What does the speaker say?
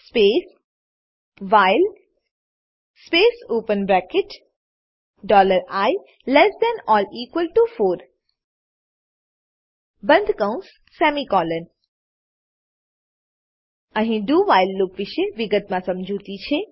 space while space open bracket dollar I less than or equal to four બંદ કૌંસ semicolon અહી do while loop વિષે વિગતમા સમજૂતી છે